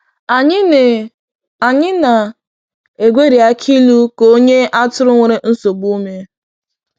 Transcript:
Anyị na è Anyị na è gweri akilu ka e nye atụrụ nwere nsogbu ume.